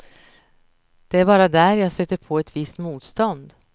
Det är bara där jag stöter på ett visst motstånd.